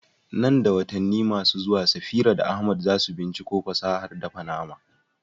Nan da watanni masu zuwa, Safira da Ahmad za su binciko fasahar dafa nama.